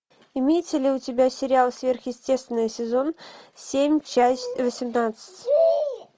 имеется ли у тебя сериал сверхъестественное сезон семь часть восемнадцать